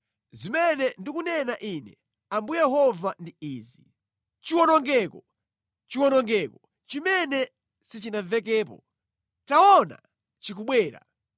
“Zimene ndikunena Ine Ambuye Yehova ndi izi: “Chiwonongeko! Chiwonongeko chimene sichinamvekepo! Taona chikubwera!